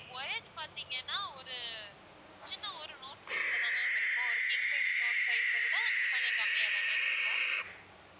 wired பார்த்திங்கன்னா ஒரு சின்ன ஒரு note size ல தான் ma'am இருக்கும் ஒரு king size note size அ விட கொஞ்சம் கம்மியா தான் ma'am இருக்கும்